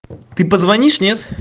ты позвонишь нет